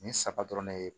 Nin saba dɔrɔn ne ye